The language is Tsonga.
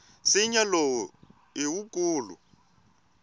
nsinya lowu i wukulu